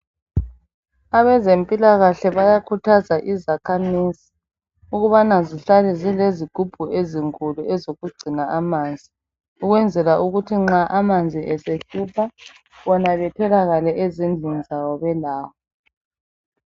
Abezempilakahle bayakhuthaza izakhamizi ukubana zihlale zilezigubhu ezinkulu ezokugcina amanzi ukwenzela ukuthi nxa amanzi esehlupha bona betholakale ezindlini zabo belawo.